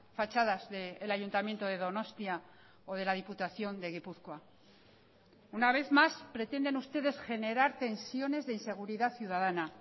fachadas del ayuntamiento de donostia o de la diputación de gipuzkoa una vez más pretenden ustedes generar tensiones de inseguridad ciudadana